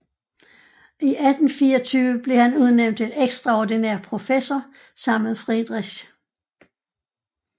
I 1824 blev han udnævnt til ekstraordinær professor sammen med Friedrich